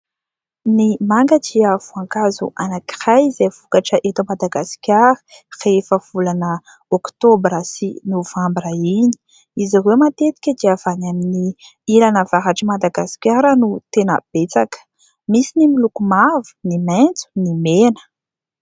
Ny manga dia voankazo anankiray izay vokatra eto Madagasikara rehefa volana oktobra sy novambra iny. Izy ireo matetika dia avy any amin'ny ilany avaratr'i Madagasikara no tena betsaka. Misy ny miloko mavo, ny maitso, ny mena.